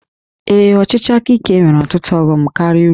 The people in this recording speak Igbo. Ee, ọchịchị aka ike nwere ọtụtụ ọghọm karịa uru